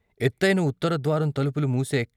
ఎత్తయిన ఉత్తరద్వారం తలుపులు మూసే